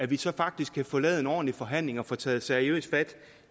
det så faktisk kan få lavet en ordentlig forhandling og få taget seriøst fat